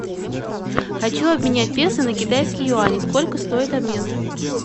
хочу обменять песо на китайские юани сколько стоит обмен